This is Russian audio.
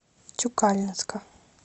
тюкалинска